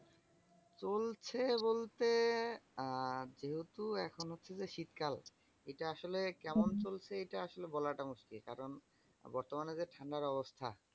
চলছে বলতে আহ যেহেতু এখন হচ্ছে যে শীতকাল? এটা আসলে কেমন চলছে এটা আসলে বলাটা মুশকিল। কারণ বর্তমানে যে ঠান্ডার অবস্থা